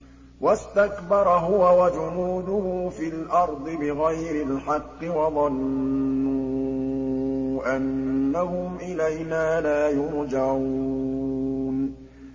وَاسْتَكْبَرَ هُوَ وَجُنُودُهُ فِي الْأَرْضِ بِغَيْرِ الْحَقِّ وَظَنُّوا أَنَّهُمْ إِلَيْنَا لَا يُرْجَعُونَ